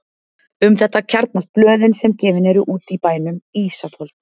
Um þetta kjarnast blöðin sem gefin eru út í bænum: Ísafold